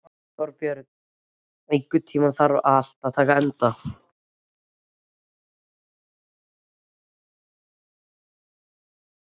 Þorbjörn, einhvern tímann þarf allt að taka enda.